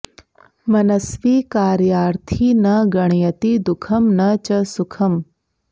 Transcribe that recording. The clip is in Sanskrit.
मनस्वी कार्यार्थी न गणयति दुखं न च सुखम्